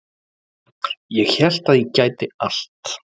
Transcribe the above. Ég hélt að ég gæti allt